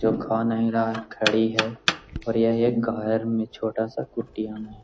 जो का खा नहीं रहा है खड़ी है और ये एक घर में छोटा-सा कुटिया में।